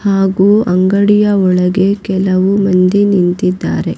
ಹಾಗೂ ಅಂಗಡಿಯ ಒಳಗೆ ಕೆಲವು ಮಂದಿ ನಿಂತಿದ್ದಾರೆ.